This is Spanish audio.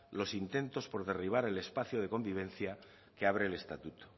los intentos por derribar el espacio de convivencia que abre el estatuto